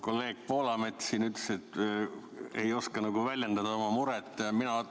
Kolleeg Poolamets siin ütles, et ta ei oska väljendada oma muret.